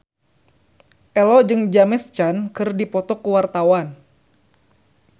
Ello jeung James Caan keur dipoto ku wartawan